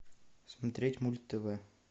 смотреть мульт тв